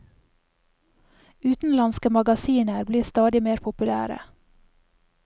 Utenlandske magasiner blir stadig mer populære.